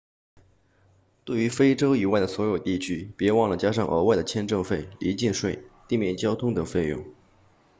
对于非洲以外的所有地区别忘了加上额外的签证费离境税地面交通等费用